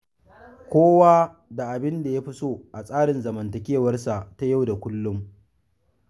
Kowa da abin da ya fi so a tsarin zamantakewarsa ta yau da kullum.